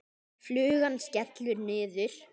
Flugan skellur niður.